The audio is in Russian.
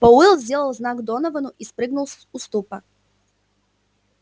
пауэлл сделал знак доновану и спрыгнул с уступа